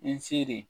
N seri